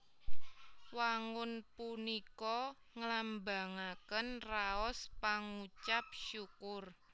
Wangun punika nglambangaken raos pangucap syukur